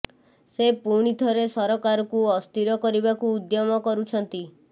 ସେ ପୁଣି ଥରେ ସରକାରକୁ ଅସ୍ଥିର କରିବାକୁ ଉଦ୍ୟମ କରୁଛନ୍ତି